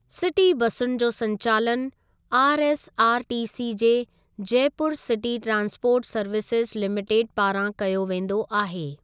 City बसुनि जो संचालनु आरएसआरटीसी जे Jaipur city transport services limited पारां कयो वेंदो आहे।